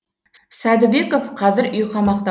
сәдібеков қазір үй қамақта